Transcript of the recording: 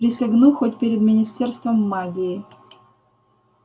присягну хоть перед министерством магии